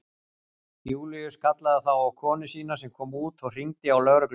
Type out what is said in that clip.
Júlíus kallaði þá á konu sína sem kom út og hringdi á lögregluna.